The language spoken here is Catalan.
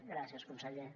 gràcies conseller